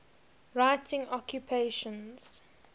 writing occupations